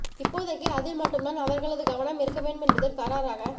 இப்போதைக்கு அதில் மட்டும் தான் அவர்களது கவனம் இருக்க வேண்டும் என்பதில் கறாராக